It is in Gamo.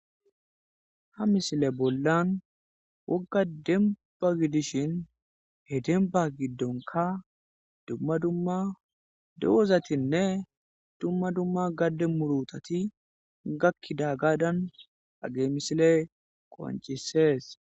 Ha misile bollan woga demba gidishn he demba giddonka dumma dumma dozatinne dumma dumma gade murutati gakidogadan hageyi misileyi qoncises.